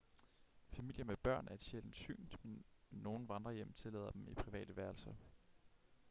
familier med børn er et sjældent syn men nogle vandrehjem tillader dem i private værelser